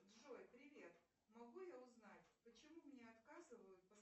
джой привет могу я узнать почему мне отказывают